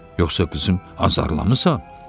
Yoxsa qızım, azarlamısan?